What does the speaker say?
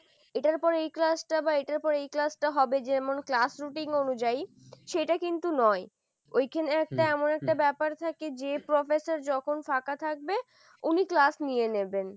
এটার পরে এই class টা বা এটার পর এই class টা হবে যেমন class routing অনুযায়ী সেটা কিন্তু নয়, ওইখানে একটা এমন একটা ব্যাপার থাকে যে professor যখন ফাঁকা থাকবে উনি class নিয়ে নেবেন।